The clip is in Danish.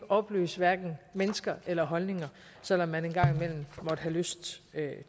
opløse hverken mennesker eller holdninger selv om man en gang imellem måtte have lyst